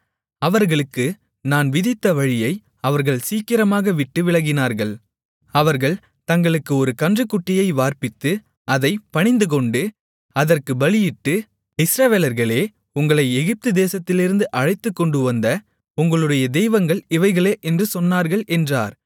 அவர்களுக்கு நான் விதித்த வழியை அவர்கள் சீக்கிரமாக விட்டு விலகினார்கள் அவர்கள் தங்களுக்கு ஒரு கன்றுக்குட்டியை வார்ப்பித்து அதைப் பணிந்துகொண்டு அதற்குப் பலியிட்டு இஸ்ரவேலர்களே உங்களை எகிப்துதேசத்திலிருந்து அழைத்துக்கொண்டுவந்த உங்களுடைய தெய்வங்கள் இவைகளே என்று சொன்னார்கள் என்றார்